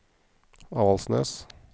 Avaldsnes